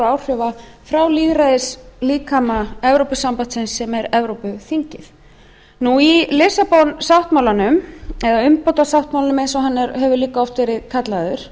áhrifa frá lýðræðislíkama evrópusambandsins sem er evrópuþingið í lissabon sáttmálanum eða umbótasáttmálanum eins og hann hefur líka oft verið kallaður